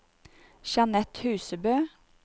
Jeanette Husebø